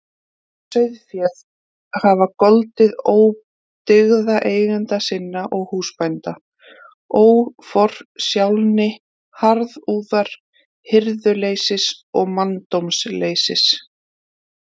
Sauðféð hafa goldið ódyggða eigenda sinna og húsbænda: óforsjálni, harðúðar, hirðuleysis og manndómsleysis.